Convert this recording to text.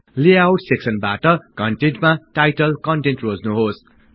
layout सेक्सनबाट G T G T कन्टेन्टमा title content रोज्नुहोस्